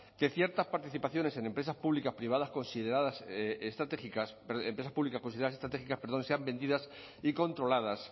que ciertas participaciones en empresas públicas privadas consideradas estratégicas empresas públicas consideradas estratégicas perdón sean vendidas y controladas